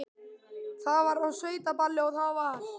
Það var á sveitaballi og það var.